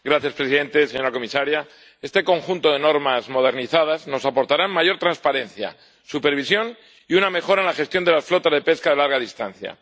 Señor presidente, señora comisaria, este conjunto de normas modernizadas nos aportará mayor transparencia, supervisión y una mejora en la gestión de las flotas de pesca de larga distancia.